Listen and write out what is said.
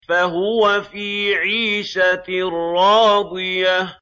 فَهُوَ فِي عِيشَةٍ رَّاضِيَةٍ